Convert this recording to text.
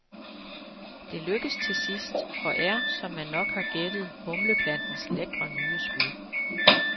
Det lykkes til sidst, og er, som man nok har gættet, humleplantens lækre nye skud.